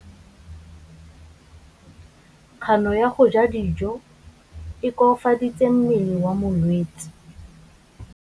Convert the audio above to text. Kganô ya go ja dijo e koafaditse mmele wa molwetse.